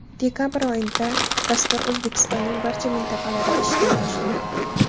Dekabr oyidan dastur O‘zbekistonning barcha mintaqalarida ishlay boshlaydi.